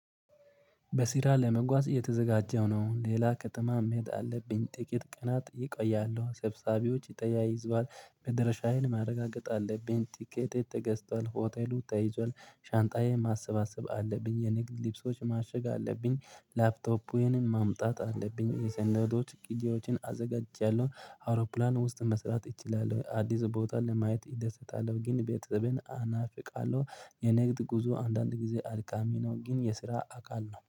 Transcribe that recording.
በስራ ለመጓዝ እየተዘጋጀው ነው። ሌላ ከተማ መሄድ አለብኝ። ጥቂት ቀናት ይቆያለሁ። ሰብሳቢዎች ተያይዟል መድረሻዬን ማረጋገጥ አለብኝ ቲኬት ተገዝቷል ሆቴሉ ተይዟል ሻንጣዬ ማሰባሰብ አለብኝ የንግድ ልብሶች ማሸግ አለብኝ ላፕቶፔንም ማምጣት አለብኝ። የሰነዶች ቂጂዎችን አዘጋጅቻለሁ። አውሮፕላን ውስጥ መስራት እችላለሁ። አዲስ ቦታ ለማየት እደሰታለሁ ግን ቤተሰቤን አናፍቃለሁ የንግድ ጉዞ አንዳንድ ጊዜ አድካሚ ነው ግን የስራ አካል ነው።